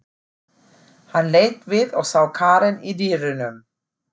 Hann leit við og sá Karen í dyrunum.